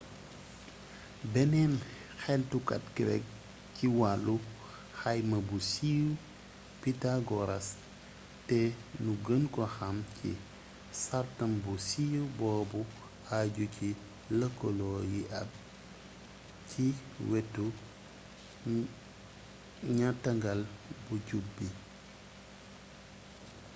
beneen xeltukat grek ci wàllu xayma bu siiw pythagoras te nu gën ko xam ci sàrtam bu siiw boobu ajju ci lëkaloo yi ab ci weti ñattangal bu jub bi